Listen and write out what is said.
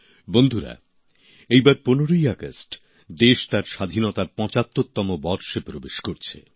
বন্ধুরা এই বার ১৫ই আগস্ট দেশ তার স্বাধীনতার পঁচাত্তরতম বর্ষে প্রবেশ করছে